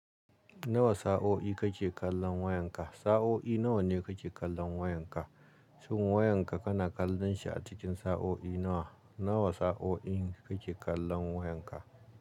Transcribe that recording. Nawa sa'o'i kake kallon wayanka? Sa'o'i nawa ne kake kallon wayanka? Shin wayanka kana kallon shi a cikin sa'o'i nawa? Nawa sa'o'i da kake kallon wayanka?